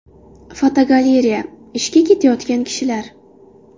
Fotogalereya: Ishga ketayotgan kishilar.